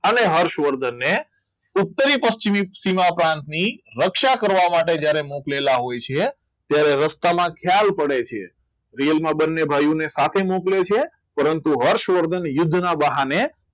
અને હર્ષવર્ધનને totaly પશ્ચિમ સીમા પ્રાંતની રક્ષા કરવા માટે જ્યારે મોકલેલા હોય છે ત્યારે રસ્તામાં ખ્યાલ પડે છે real માં બંને ભાઈઓને સાથે મોકલે છે પરંતુ હર્ષવર્ધન યોજના બહાને